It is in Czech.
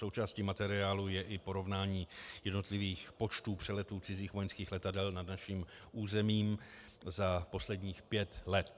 Součástí materiálu je i porovnání jednotlivých počtů přeletů cizích vojenských letadel nad naším územím za posledních pět let.